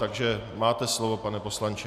Takže máte slovo, pane poslanče.